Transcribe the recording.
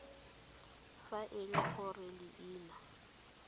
fa e le gore leina